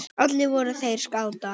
Allir voru þeir skátar.